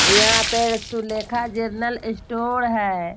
यहां पे Sulekha general store हैं।